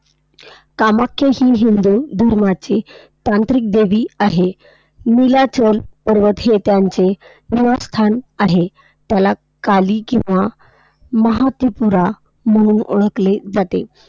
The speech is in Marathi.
कामाख्या ही हिंदू धर्माची तांत्रिक देवी आहे. नीलाचल पर्वत हे त्यांचे निवासस्थान आहे, त्याला काली किंवा महात्रिपुरा म्हणून ओळखले जाते.